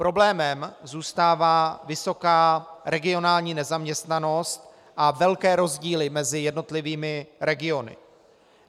Problémem zůstává vysoká regionální nezaměstnanost a velké rozdíly mezi jednotlivými regiony.